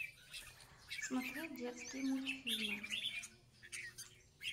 смотреть детские мультфильмы